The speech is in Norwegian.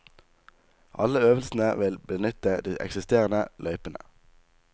Alle øvelsene vil benytte de eksisterende løypene.